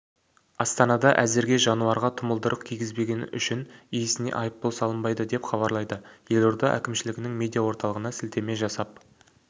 астанада әзірге жануарға тұмылдырық кигізбегені үшін иесіне айыппұл салынбайды деп хабарлайды елорда әкімшілігінің медиаорталығына сілтеме жасап